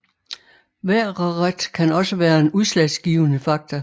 Vejreret kan også være en udslagsgivende fakta